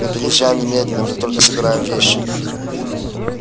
мы переезжаем немедленно как только собираем вещи